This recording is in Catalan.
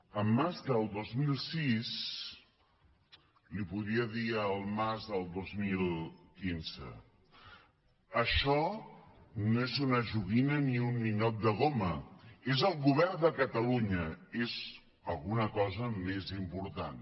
en mas del dos mil sis li podria dir al mas del dos mil quinze això no és una joguina ni un ninot de goma és el govern de catalunya és alguna cosa més important